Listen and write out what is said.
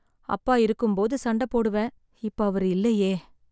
அப்பா இருக்கும்போது சண்டை போடுவேன், இப்ப அவர் இல்லையே.